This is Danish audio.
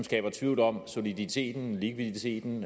tvivl om soliditeten likviditeten